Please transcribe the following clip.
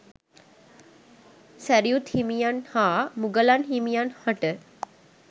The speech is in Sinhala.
සැරියුත් හිමියන් හා මුගලන් හිමියන් හට